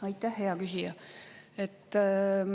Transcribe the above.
Aitäh, hea küsija!